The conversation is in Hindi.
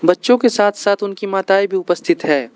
बच्चों के साथ साथ उनकी माताएं भी उपस्थित है।